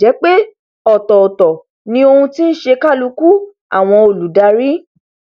ọ̀tọ̀ọ̀tọ̀ ni oun tí ń ṣe kálukú àwọn olùdarí